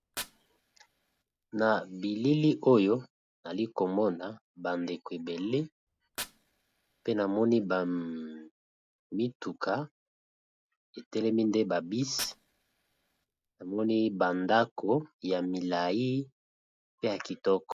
Na bilili oyo ali komona bandeko ebele pe namoni bamituka etelemi nde babisi namoni bandako ya milai pe ya kitoko.